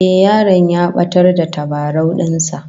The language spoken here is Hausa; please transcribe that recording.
Eh, yaron ya batar da tabarau din sa